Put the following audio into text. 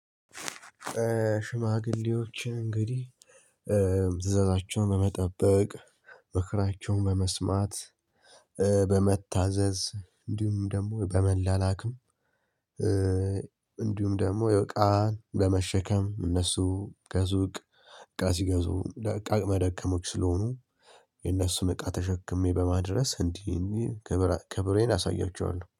ሽማግሌዎችን እንግዲህ ትዕዛዛቸውን በመጠበቅ፣ ምክራቸውን በመስማት፣ በመታዘዝ፣ እንዲሁም ደግሞ በመላላክም እንዲሁም ደግሞ ያው እቃ ለመሸከም እነሱ ከሱቅ እቃ ሲገዙ አቅመ ደከሞች ስለሆኑ የነሱን እቃ ተሸክሜ በማድረስ እንዲህ እንዲህ ክብሬን አሳያችኋለሁ።